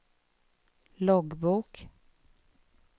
loggbok